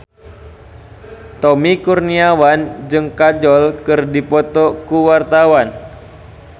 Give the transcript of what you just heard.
Tommy Kurniawan jeung Kajol keur dipoto ku wartawan